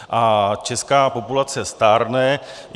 A česká populace stárne.